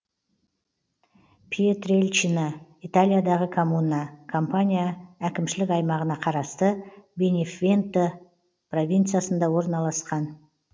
пьетрельчина италиядағы коммуна кампания әкімшілік аймағына қарасты бенефенто провинциясында орналасқан